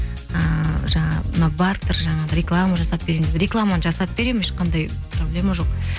ыыы жаңағы мынау бартер жаңағы реклама жасап беремін ешқандай проблема жоқ